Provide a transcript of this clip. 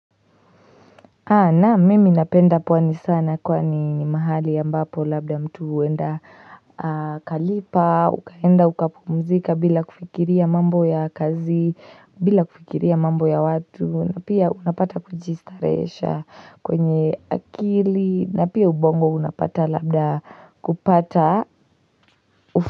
Naam, mimi napenda pwani sana kwani ni mahali ambapo labda mtu huenda kalipa, ukaenda ukapumzika bila kufikiria mambo ya kazi, bila kufikiria mambo ya watu, na pia unapata kujistarehesha kwenye akili na pia ubongo unapata labda kupata.